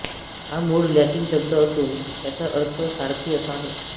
हा मूळ लॅटिन शब्द असून त्याचा अर्थ सारथी असा आहे